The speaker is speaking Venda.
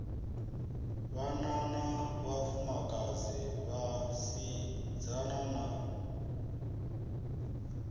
vhanna na vhafumakadzi vhasidzana na